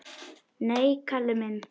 Nei, Kalli minn.